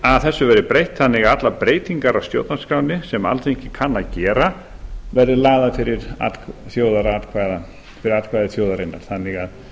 að þessu verði breytt þannig að allar breytingar á stjórnarskránni sem alþingi kann að vera verði lagðar fyrir atkvæði þjóðarinnar þannig að